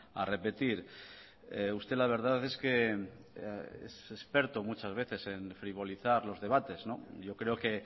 a repetir usted la verdad es que es experto muchas veces en frivolizar los debates yo creo que